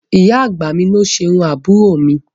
Ìyá àgbà mi ni ó ṣe irú àbúrò mi